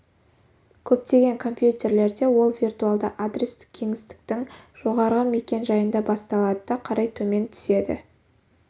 көптеген компьютерлерде ол виртуалды адрестік кеңістіктің жоғарғы мекен-жайында басталады да қарай төмен өседі